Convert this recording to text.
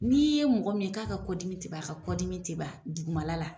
N'i ye mɔgɔ min ye k'a ka kɔ dimi te ban, a ka kɔ dimi te ban dugumala la